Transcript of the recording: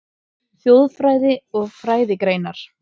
Þjóðfræði og frændgreinar